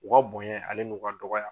U ka bonya ale n'u ka dɔgɔya